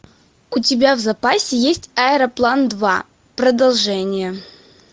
у тебя в запасе есть аэроплан два продолжение